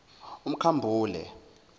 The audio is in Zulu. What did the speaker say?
umkhambule